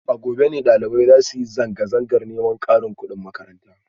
A gobe ne dalibai za su yi zanga-zangar neman karin kudin makaranta